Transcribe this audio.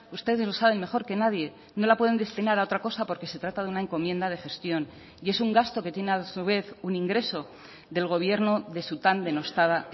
ustedes lo saben mejor que nadie no la pueden destinar a otra cosa porque se trata de una encomienda de gestión y es un gasto que tiene a su vez un ingreso del gobierno de su tan denostada